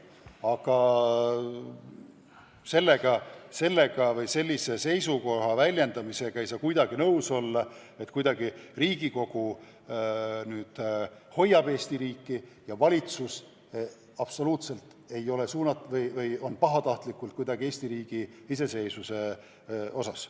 Aga ma ei saa kuidagi nõus olla sellise seisukohaga, et Riigikogu hoiab Eesti riiki, aga valitsus absoluutselt ei ole sellele suunatud või on lausa pahatahtlik Eesti riigi iseseisvuse osas.